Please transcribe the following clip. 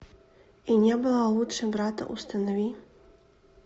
и не было лучше брата установи